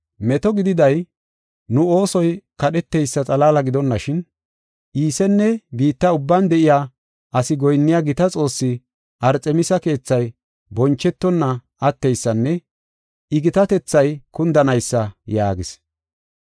Meto gididay, nu oosoy kadheteysa xalaala gidonashin, Iisenne biitta ubban de7iya asi goyinniya gita xoosse Arxemisi keethay bonchetonna atteysanne I gitatethay kundanaysa” yaagis.